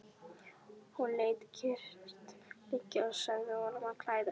Hún lét kyrrt liggja og sagði honum að klæða sig.